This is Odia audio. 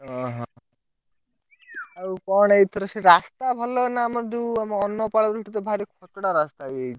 ଓହୋ ଆଉ କଣ ଏଥର ସେ ରାସ୍ତା ଭଲ ନା? ଆମର ଯୋଉ ଆମ ଅର୍ନପାଳ ରୁ ଭାରି ଖଚଡା ରାସ୍ତା ହେଇଯାଇଛି?